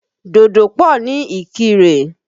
Dòdò pọ̀ ní Ìkirè.